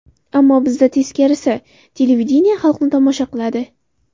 Ammo bizda teskarisi televideniye xalqni tomosha qiladi.